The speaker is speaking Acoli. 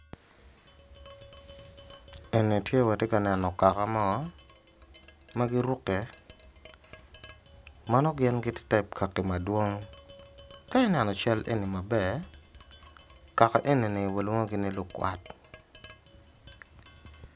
Eni tye watye ka neno kaka mo ma giruke ma nongo gin gitye type kaki madwong ka ineno cal eni maber kaka eni ni walongogi ni lukwat